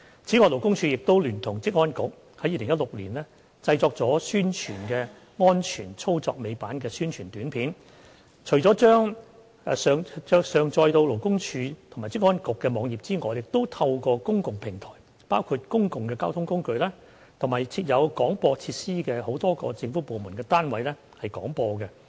此外，勞工處聯同職業安全健康局在2016年製作了宣傳安全操作尾板的宣傳短片，除將其上載到勞工處及職安局的網頁外，亦透過公共平台，包括公共交通工具，以及設有廣播設施的多個政府部門單位廣播。